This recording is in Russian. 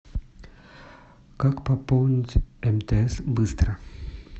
как пополнить мтс быстро